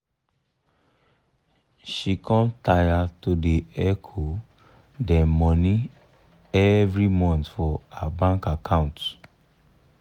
she com taya to da hecho dem money evrey month for her bank account